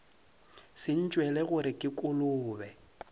se ntšwele gore ke kolobe